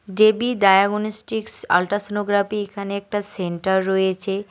দেবী diagnostics ultrasonography এখানে একটা centre রয়েছে।